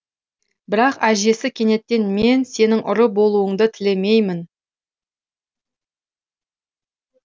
бірақ әжесі кенеттен мен сенің ұры болуыңды тілемеймін